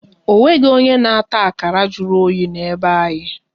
Ọ nweghị onye na-ata akara jụrụ oyi na-be anyị